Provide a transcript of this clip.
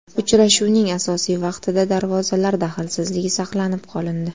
Uchrashuvning asosiy vaqtida darvozalar daxlsizligi saqlanib qolindi.